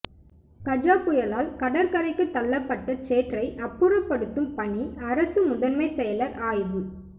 கஜா புயலால் கடற்கரைக்கு தள்ளப்பட்ட சேற்றை அப்புறப்படுத்தும் பணி அரசு முதன்மை செயலர் ஆய்வு